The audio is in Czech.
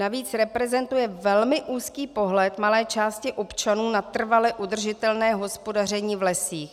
Navíc reprezentuje velmi úzký pohled malé části občanů na trvale udržitelné hospodaření v lesích.